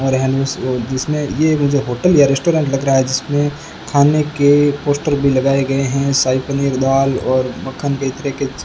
और जिसमें ये मुझे होटल या रेस्टोरेंट लग रहा है जिसमें खाने के पोस्टर भी लगाए गए हैं शाही पनीर दाल और मक्खन तरह के --